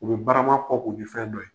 U bɛ barama kɔ 'u bɛ fɛn dɔ ye.